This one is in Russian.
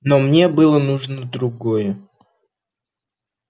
но мне было нужно другое